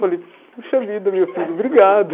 Falei, puxa vida, meu filho, obrigado.